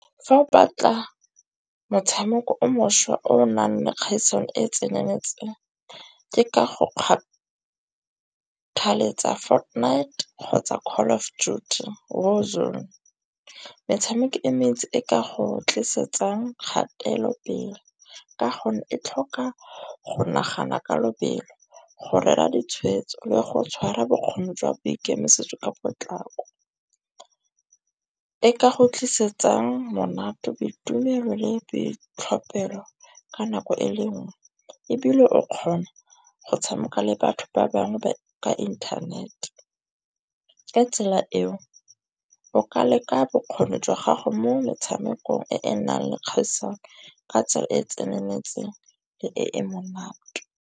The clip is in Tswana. Fa o batla motshameko o mošwa o nang le kgaisano e e tseneletseng ke ka go kgathaletsa Fortnite kgotsa call of duty . Metshameko e metsi e ka go tlisetsa kgatelopele. Ka gonne e tlhoka go nagana ka lobelo, go rera ditshweetso le go tshwara bokgoni jwa boikemisetso ka potlako. E ka go tlisetsang monate, boitumelo le boitlhophelo ka nako e le nngwe. Ebile o kgona go tshameka le batho ba bangwe ka inthanete. Ka tsela eo o ka leka bokgoni jwa gago mo metshamekong e e nang le kgaisano ka tsela e tseneletseng le e e monate.